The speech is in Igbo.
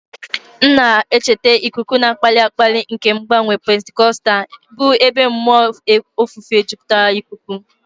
M na-echeta ikuku na-akpali akpali nke mgbanwe Pentikọstal, bụ́ ebe mmụọ ofufe jupụtara ikuku.